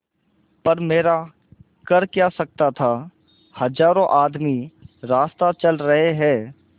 पर मेरा कर क्या सकता था हजारों आदमी रास्ता चल रहे हैं